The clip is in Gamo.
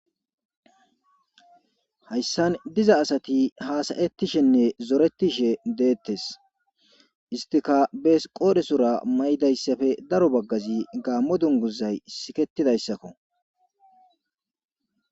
hayssan diza asati haasayettishenne zoretishe deettes istika bees qoodhesora may7idayssafe daro baggazi gaammo dunguzay siketidayssakko